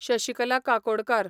Shashikala Kakodkar